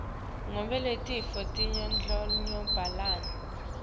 ngobe letifo tiyandlondlobala